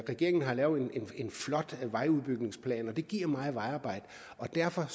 regeringen har lavet en flot vejudbygningsplan og det giver meget vejarbejde og derfor